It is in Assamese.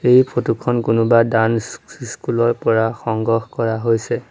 এই ফটো খন কোনোবা ডাঞ্চ স্ক স্কো স্কুলৰ পৰা সংগ্ৰহ কৰা হৈছে।